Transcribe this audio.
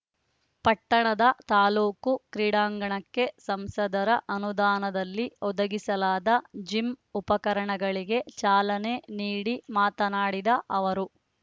ಪಟ್ಟಣದ ತಾಲ್ಲೂಕು ಕ್ರೀಡಾಂಗಣಕ್ಕೆ ಸಂಸದರ ಅನುದಾನದಲ್ಲಿ ಒದಗಿಸಲಾದ ಜಿಮ್ ಉಪಕರಣಗಳಿಗೆ ಚಾಲನೆ ನೀಡಿ ಮಾತನಾಡಿದ ಅವರು